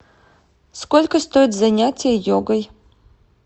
сколько стоят занятия йогой